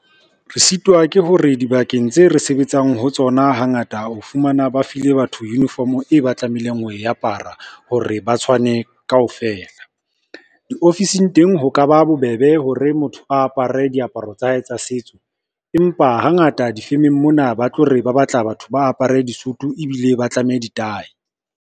Re sitwa ke hore dibakeng tse re sebetsang ho tsona, hangata o fumana ba file batho uniform e ba tlamehileng ho e apara hore ba tshwane kaofela. Di-ofising teng ho ka ba bobebe hore motho a apare diaparo tsa hae tsa setso, empa hangata di-firm-eng mona ba tlo re ba batla batho ba apare Sesotho ebile ba tlameha ditae.